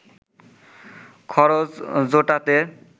খরচ জোটাতে